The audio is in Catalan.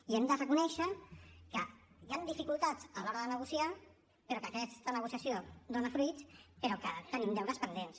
i hem de reconèixer que hi han dificultats a l’hora de negociar però que aquesta negociació dona fruits però que tenim deures pendents